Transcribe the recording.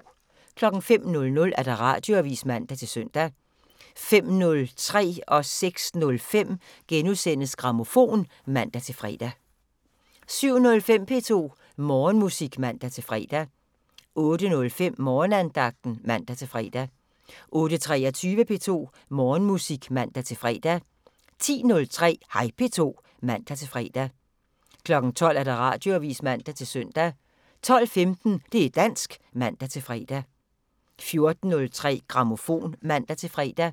05:00: Radioavisen (man-søn) 05:03: Grammofon *(man-søn) 06:05: Grammofon *(man-fre) 07:05: P2 Morgenmusik (man-fre) 08:05: Morgenandagten (man-fre) 08:23: P2 Morgenmusik (man-fre) 10:03: Hej P2 (man-fre) 12:00: Radioavisen (man-søn) 12:15: Det' dansk (man-fre) 14:03: Grammofon (man-fre)